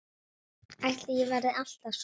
Ætli ég verði alltaf svona?